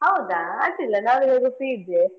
ಹೌದಾ ಅಡ್ಡಿಲ್ಲಾ ನಾನು free ಇದ್ದೆ.